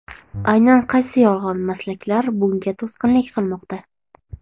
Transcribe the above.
Aynan qaysi yolg‘on maslaklar bunga to‘sqinlik qilmoqda?